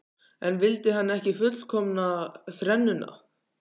En vildi hann ekki fullkomna þrennuna?